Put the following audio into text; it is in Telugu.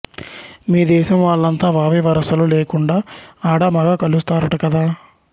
మీ దేశం వాళ్ళంతా వావి వరసలు లేకుండా ఆడామగా కలుస్తారట కదా